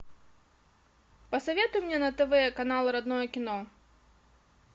посоветуй мне на тв канал родное кино